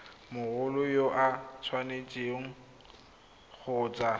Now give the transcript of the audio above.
mogolo yo o tshwanetseng kgotsa